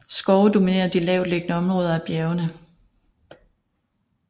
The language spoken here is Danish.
Skove dominerer de lavtliggende områder af bjergene